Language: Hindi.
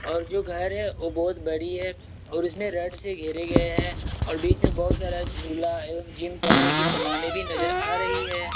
और जो घर रहे हैं ओ बहुत बड़ी है और उसने रेड से घेरे गए हैं और बीच में बहुत सारा झूला एवं जिम करने की समाने भी नजर आ रही है।